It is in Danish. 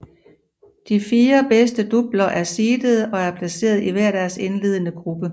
De fire bedst doubler er seedede og er placeret i hver deres indledende gruppe